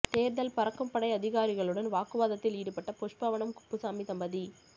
தேர்தல் பறக்கும் படை அதிகாரிகளுடன் வாக்குவாதத்தில் ஈடுபட்ட புஷ்பவனம் குப்புசாமி தம்பதி